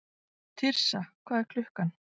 Tirsa, hvað er klukkan?